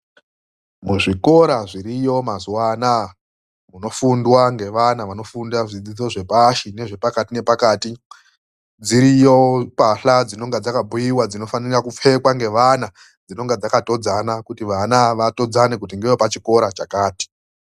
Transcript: MUZVIKORA ZVIRIYO MAZUWA ANAYA KUNOFUNDWA NGEVANA VANOFUNDA ZVIDZIDZO ZVEPASHI NEZVEPAKATI NEPAKATI DZIRIYO MBATYLA DZINOFANA KUPFEKWA NGEVANA DZINONGA DZAKATODZANA KUTI VANA VATODZANE KUTI NDEWEPACHIKORA CHAKATI